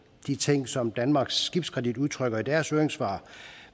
de ting som danmarks skibskredit udtrykker i deres høringssvar